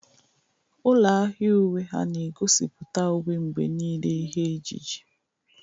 Ụlọ ahịa uwe ha na egosipụta uwe mgbe niile ihe ejiji.